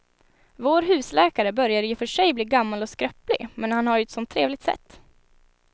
Vår husläkare börjar i och för sig bli gammal och skröplig, men han har ju ett sådant trevligt sätt!